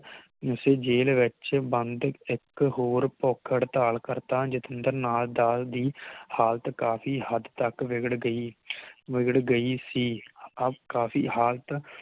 ਉਸ ਜੇਲ ਵਿਚ ਬੰਦ ਇਕ ਹੋਰ ਭੁਕ ਹੜਤਾਲ ਕਰਤਾ ਜਿਤੇਂਦਰ ਨਾਥ ਦਾਨ ਦੀ ਹਾਲਤ ਕਾਫੀ ਹੱਦ ਤਕ ਬਿਘੜ ਬਿਘੜ ਗਈ ਸੀ ਅਬ ਕਾਫੀ ਹਾਲਤ